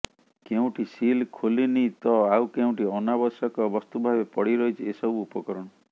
କେଉଁଠି ସିଲ୍ ଖୋଲିନି ତ ଆଉ କେଉଁଠି ଅନାବଶ୍ୟକ ବସ୍ତୁ ଭାବେ ପଡ଼ିରହିଛି ଏସବୁ ଉପକରଣ